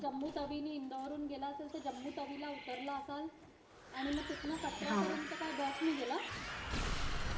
जांबू तारेने गेला असाल जांबू तरीला उताराला असाल आणि मग तिथनं कटरा पर्यंत काय बस ने गेलात?